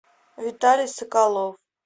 виталий соколов